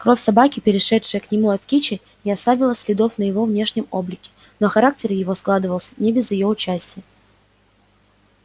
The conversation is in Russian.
кровь собаки перешедшая к нему от кичи не оставила следов на его внешнем облике но характер его складывался не без её участия